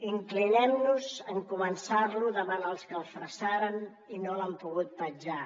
inclinem nos en començar lo davant els que el fressaren i no l’han pogut petjar